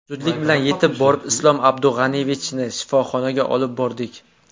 Zudlik bilan yetib borib, Islom Abdug‘aniyevichni shifoxonaga olib bordik.